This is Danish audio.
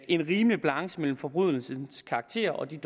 en rimelig balance mellem forbrydelsens karakter og den